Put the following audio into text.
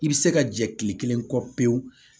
I bɛ se ka jɛ kile kelen kɔ pewu